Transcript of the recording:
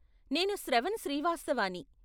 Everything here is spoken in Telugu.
నేను శ్రవణ్ శ్రీవాస్తవాని.